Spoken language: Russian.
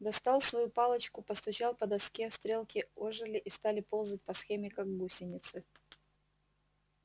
достал свою палочку постучал по доске стрелки ожили и стали ползать по схеме как гусеницы